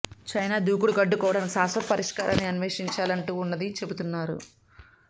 China దూకుడును అడ్డుకోవడానికి శాశ్వత పరిస్కారాన్ని అన్వేషించాల్సి ఉంటుందని చెబుతున్నారు